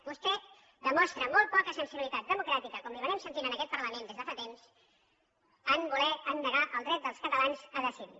vostè demostra molt poca sensibilitat democràtica com li hem estat sentit en aquest parlament des de fa temps en negar el dret dels catalans a decidir